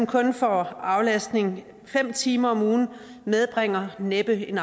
kun får aflastning fem timer om ugen medbringer næppe en